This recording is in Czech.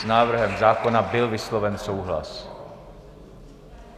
S návrhem zákona byl vysloven souhlas.